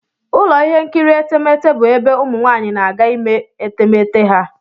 Ụlọ ihe nkiri etemeete bụ ebe ụmụ nwaanyị na-aga ime etemeete ha.